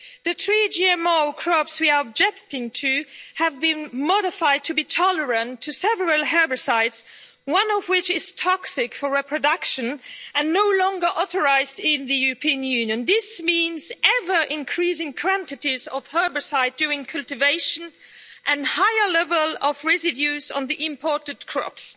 The three GMO crops we are objecting to have been modified to be tolerant to several herbicides, one of which is toxic for reproduction and no longer authorised in the European Union. This means ever increasing quantities of herbicide during cultivation, and a higher level of residues on the imported crops.